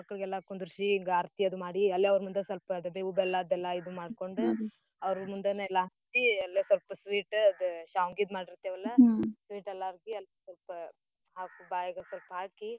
ಗಂಡ್ಮಕ್ಳಿಗ್ ಕುಂದ್ರಿಸಿ ಆರ್ತಿ ಅದು ಮಾಡಿ ಅವ್ರ ಮುಂದ ಸ್ವಲ್ಪ ಬೇವು ಬೆಲ್ಲ ಎಲ್ಲಾ ಇದ್ ಮಾಡ್ಕೊಂಡು ಅವ್ರ ಮುಂದನ ಎಲ್ಲಾ ಹಂಚಿ ಅಲ್ಲೇ ಸ್ವಲ್ಪ sweet ಅದ್ ಶಾವ್ಗಿದ್ ಏಲ್ಲರ್ಗಿ ಅದ್ ಸ್ವಲ್ಪ ಬಾಯ್ಗೆ ಸ್ವಲ್ಪ ಹಾಕಿ.